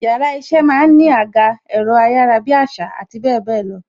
Yàrá iṣẹ́ máa ń ní àga, ẹ̀rọ ayarabiasa àti bebelo.